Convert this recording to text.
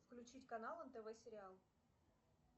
включить канал нтв сериал